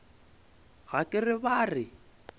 ga ke re ba re